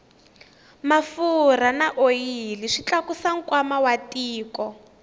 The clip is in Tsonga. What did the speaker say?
mafurha na oyili swi tlakusa nkwama wa tiko